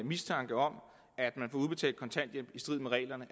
mistanke om at man får udbetalt kontanthjælp i strid med reglerne